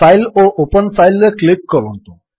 file ଓ open file ରେ click କରନ୍ତୁ